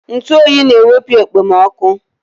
Ntụ oyi na-ewepu okpomoọkụ